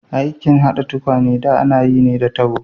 Aikin hada tukwane da ana yi ne da tabo.